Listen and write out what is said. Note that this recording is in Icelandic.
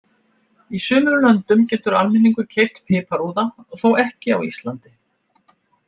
Í sumum löndum getur almenningur keypt piparúða, þó ekki á Íslandi.